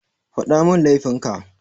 Faɗamin laifin ka.